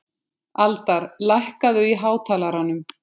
Aldar, lækkaðu í hátalaranum.